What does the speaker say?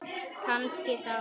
Kannski þá.